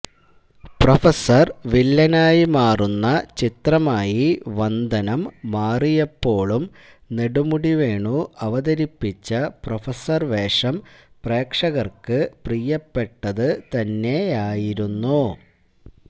professor വില്ലനായി മാറുന്ന ചിത്രമായി വന്ദനം മാറിയപ്പോളും നെടുമുടി വേണു അവതരിപ്പിച്ച പ്രഫസർ വേഷം പ്രേക്ഷകർക്ക് പ്രിയപ്പെട്ടത് തന്നെയായിരുന്നു